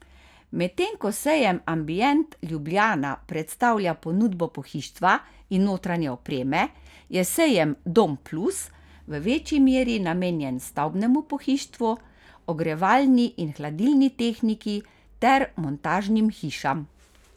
Medtem ko sejem Ambient Ljubljana predstavlja ponudbo pohištva in notranje opreme, je sejem Dom Plus v večji meri namenjen stavbnemu pohištvu, ogrevalni in hladilni tehniki ter montažnim hišam.